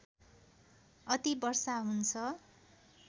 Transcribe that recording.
अति वर्षा हुन्छ